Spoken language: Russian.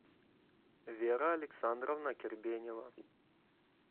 вера александровна кербенева